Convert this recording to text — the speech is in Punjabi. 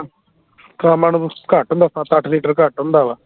ਸ਼ਾਮਾਂ ਨੂੰ ਘੱਟ ਹੁੰਦਾ ਸੱਤ ਅੱਠ ਲੀਟਰ ਘੱਟ ਹੁੰਦਾ ਵਾ